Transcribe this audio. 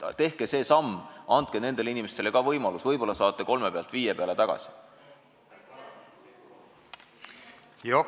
Tehke see samm, andke nendele inimestele ka võimalus, ja võib-olla saate kolmelt viiele protsendile tagasi!